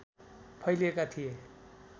फैलिएका थिए